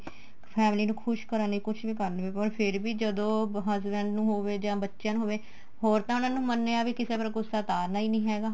family ਨੂੰ ਖੁਸ਼ ਕਰਨ ਲਈ ਕੁੱਝ ਵੀ ਕਰਨੀ ਪਰ ਫੇਰ ਵੀ ਜਦੋਂ husband ਨੂੰ ਹੋਵੇ ਬੱਚਿਆਂ ਨੂੰ ਹੋਵੇ ਹੋਰ ਤਾਂ ਉਹਨਾ ਨੂੰ ਮੰਨਿਆ ਵੀ ਕਿਸੇ ਪਰ ਗੂੱਸਾ ਉਤਾਰਨਾ ਈ ਨਹੀਂ ਹੈਗਾ